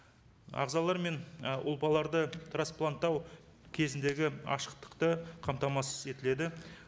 ағзалар мен ұлпаларды траспланттау кезіндегі ашықтықты қамтамасыз етіледі